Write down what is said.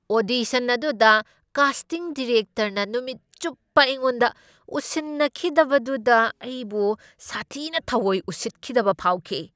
Audition ꯑꯗꯨꯗ casting ꯗꯤꯔꯦꯛꯇꯔꯅ ꯅꯨꯃꯤꯠ ꯆꯨꯞꯄ ꯑꯩꯉꯣꯟꯗ ꯎꯁꯤꯟꯅꯈꯤꯗꯕꯗꯨꯗ ꯑꯩꯕꯨ ꯁꯥꯊꯤꯅ ꯊꯥꯑꯣꯢ ꯎꯁꯤꯠꯈꯤꯗꯕ ꯐꯥꯎꯈꯤ꯫